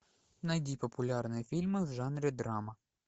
найди популярные фильмы в жанре драма